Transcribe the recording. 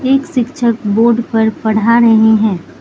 एक शिक्षक बोर्ड पर पढ़ा रहे हैं।